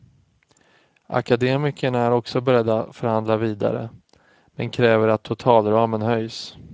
Akademikerna är också beredda förhandla vidare, men kräver att totalramen höjs.